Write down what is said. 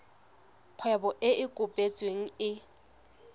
kgwebo e e kopetsweng e